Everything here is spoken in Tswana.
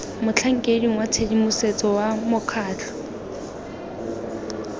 motlhankeding wa tshedimosetso wa mokgatlho